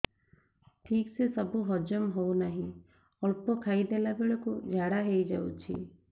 ଠିକସେ ସବୁ ହଜମ ହଉନାହିଁ ଅଳ୍ପ ଖାଇ ଦେଲା ବେଳ କୁ ଝାଡା ହେଇଯାଉଛି